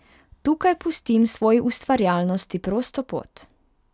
Tukaj pustim svoji ustvarjalnosti prosto pot.